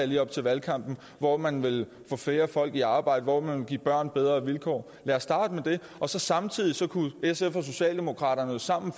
lige op til valgkampen hvor man vil få flere folk i arbejde hvor man vil give børn bedre vilkår lad os starte med det og så samtidig kunne sf og socialdemokraterne sammen